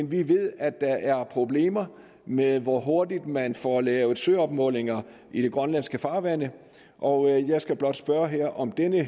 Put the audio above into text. vi ved at der er problemer med hvor hurtigt man får lavet søopmålinger i de grønlandske farvande og jeg skal blot spørge her om denne